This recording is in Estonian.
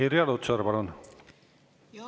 Irja Lutsar, palun!